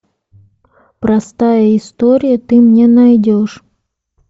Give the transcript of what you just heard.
простая история ты мне найдешь